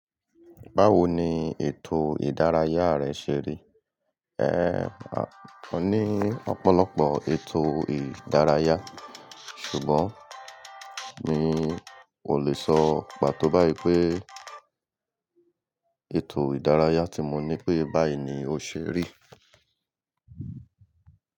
Báwo ni ètò ìdárayá rẹ ṣe rí? Ehn, a ní ọ̀pọ̀lọpọ̀ ètò ìdárayá, ṣùgbọ́n mi ò lè sọ pàtó báyìí pé ètò ìdárayá tí mo ní pé báyìí ni ó ṣe rí.